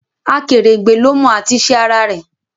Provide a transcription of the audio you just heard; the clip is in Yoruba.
Akerengbe ló mọ at'isẹ ara-re